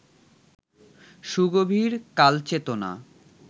সুগভীর কালচেতনা